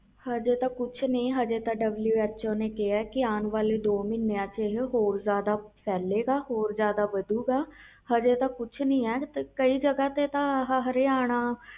ਅਜੇ ਤਾ ਕੁਛ ਨਹੀਂ ਅਜੇ ਤੇ WHO ਨੇ ਕਿਹਾ ਅਨ ਵਾਲੇ ਦੋ ਮਹੀਨਿਆਂ ਵਿਚ ਹੋਰ ਜਿਆਦਾ ਵਧੋ ਗਏ ਹੋਰ ਫੈਲੋ ਗਾ ਅਜੇ ਤਾ ਕੁਛ ਨਹੀਂ ਆ ਕਈ ਜਗ੍ਹਾ ਤੇ ਹਰਿਆਣਾ